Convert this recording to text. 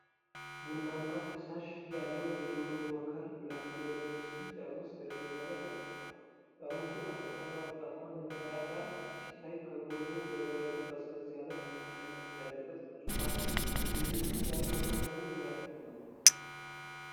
ቡናማ ፈሳሽ ያለው የጆኒ፟ ዎከር ብላክ ሌብል ውስኪ ጠርሙስ ጠረጴዛ ላይ ተቀምጧል። ጠርሙሱ ከጥቁርና ወርቃማ መለያ ጋር ሲታይ፣ ከጎኑ በበረዶ ቀዝቀዝ ያለ ተመሳሳይ መጠጥ ያለበት ብርጭቆ አለ፤ የዚህ ውስኪ የአልኮል መጠኑ ምን ያክል ነው?